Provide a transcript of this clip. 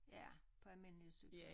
Ja på almindelige cykler